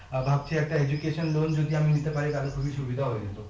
আহ ভাবছি একটা education loan যদি আমি নিতে পারি তাহলে খুবি সুবিধা হবে কিন্তু